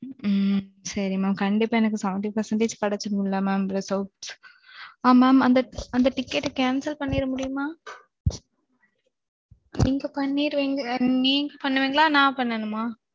ம்ம். okay mam. கண்டிப்பா எனக்கு seventy five percentage கெடச்சுரும் இல்ல மாம்? ஆ. mam. அந்த ticket cancel பண்ணிர முடியுமா? நீங்க பண்ணிருவீங்க. நீங்க பண்ணீர்விங்களா இல்ல நான் பண்ணனுமா?